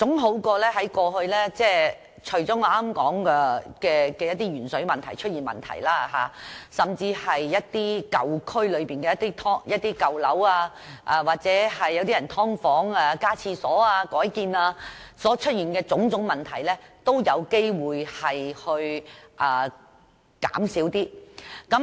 有了這項規定，我相信除了鉛水問題外，在一些舊區內的舊樓或"劏房"內加建廁所或改建所出現的種種問題，都有機會減少。